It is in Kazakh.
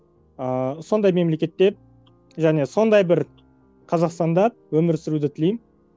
ыыы сондай мемлекетте және сондай бір қазақстанда өмір сүруді тілеймін